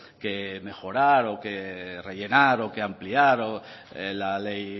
que mejorar o que rellenar o que ampliar la ley